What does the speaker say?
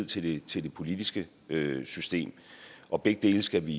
tillid til det politiske system og begge dele skal vi